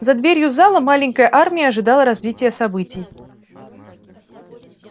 за дверью зала маленькая армия ожидала развития событий